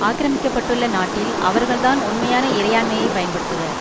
ஆக்கிரமிக்கப்பட்டுள்ள நாட்டில் அவர்கள்தான் உண்மையான இறையாண்மையை பயன்படுத்துவர்